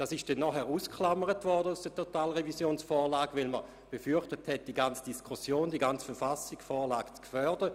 Das wurde anschliessend aus der Totalrevisionsvorlage ausgeklammert, weil man befürchtete, mit dem Ausländerstimmrecht die ganze Vorlage zu gefährden.